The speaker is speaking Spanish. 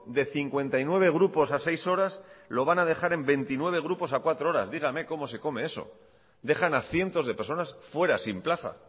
de cincuenta y nueve grupos a seis horas lo van a dejar en veintinueve grupos a cuatro horas dígame cómo se come eso dejan a cientos de personas fuera sin plaza